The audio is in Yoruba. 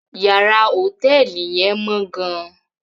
Yàrá hotẹẹli yẹn mọ gàn